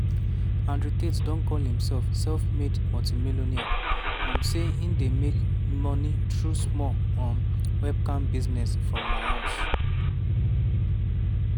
andrew tate don call imself "self-made multi-millionaire" and say e dey make moni through "small um webcam business from my house".